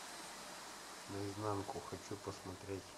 наизнанку хочу посмотреть